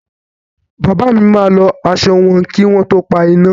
Bàbá mi máa lọ aṣọ wọn kí wọ́n to pa iná.